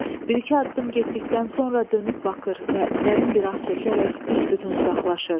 Bir-iki addım getdikdən sonra dönüb baxır və dərin bir ah çəkərək büs-bütün uzaqlaşır.